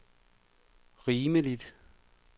rimeligt